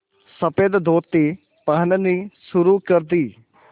सफ़ेद धोती पहननी शुरू कर दी